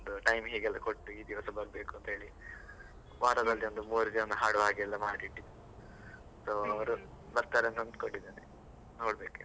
ಒಂದ್ time ಹೇಗೆ ಎಲ್ಲ ಕೊಟ್ಟು ಈ ದಿವಸ ಬರ್ಬೇಕು ಅಂತ ಹೇಳಿ, ವಾರದಲ್ಲಿ ಒಂದು ಮೂವರು ಜನ ಹಾಡುವ ಹಾಗೆ ಎಲ್ಲ ಮಾಡಿ ಇಟ್ಟಿ. So ಅವರು ಬರ್ತಾರೆ ಅಂತ ಅನ್ಕೊಂಡಿದ್ದೇನೆ ನೋಡ್ಬೇಕು ಇನ್ನು.